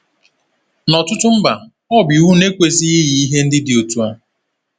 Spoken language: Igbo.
N’ọ̀tụtụ mba, ọ bụ iwu na-ekwesịghị iyi ihe ndị dị otu a.